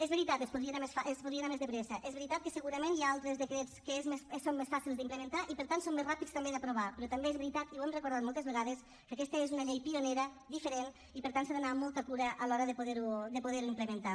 és veritat es podria anar més de pressa és veritat que segurament hi ha altres decrets que són més fàcils d’implementar i per tant són més ràpids també d’aprovar però també és veritat i ho hem recordat moltes vegades que aquesta és una llei pionera diferent i per tant s’ha d’anar amb molta cura a l’hora de poder ho implementar